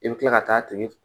I bɛ kila ka taa tigi